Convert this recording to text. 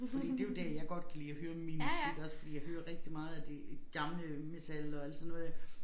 Fordi det jo dér jeg godt kan lide at høre min musik også fordi jeg hører rigtig meget af det gamle metal og alt sådan noget ja